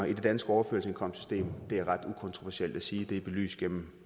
i det danske overførselsindkomstsystem er ret ukontroversielt at sige det er belyst gennem